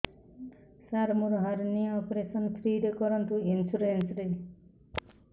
ସାର ମୋର hernia operation free ରେ କରନ୍ତୁ ଇନ୍ସୁରେନ୍ସ ରେ